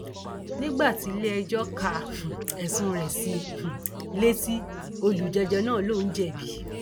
nígbà tiléẹjọ ka um ẹsùn rẹ sí i um létí olùjẹjọ náà lòún jẹbi